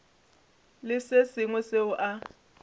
le se sengwe seo a